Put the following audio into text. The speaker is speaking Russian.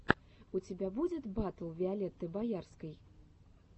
у тебя будет батл виолетты боярской